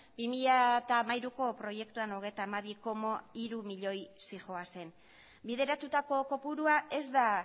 bi mila hamairuko proiektuan hogeita hamabi koma hiru milioi zihoazen bideratutako kopurua ez da